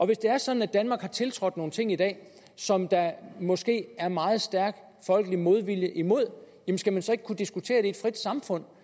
hvis det er sådan at danmark har tiltrådt nogle ting i dag som der måske er meget stærk folkelig modvilje imod skal man så ikke kunne diskutere det i et frit samfund